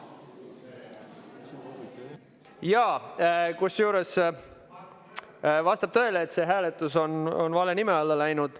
Jaa, kusjuures vastab tõele, et see hääletus on vale nime alla läinud.